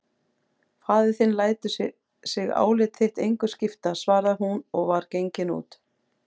Faðir þinn lætur sig álit þitt engu skipta, svaraði hún og var gengin út.